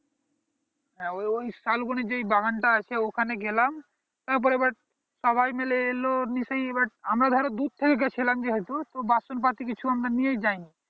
হ্যাঁ হ্যাঁ হ্যাঁ ওই শাল বনের যেই বাগান টা আছে ওখানে গেলাম তার পরে এইবার সবাই মিলে এলো আমরা ধরো দূর থেকে গিয়েছিলাম যেহুতু তো বাসন পাতি কিছু আমরা নিয়েই যায়নি